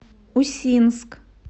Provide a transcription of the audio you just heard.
усинск